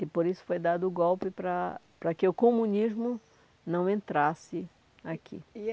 E por isso foi dado o golpe para para que o comunismo não entrasse aqui.